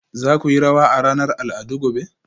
za ku yi rawa a ranar al'adu gobe